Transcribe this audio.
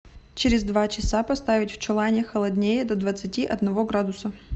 через два часа поставить в чулане холоднее до двадцати одного градуса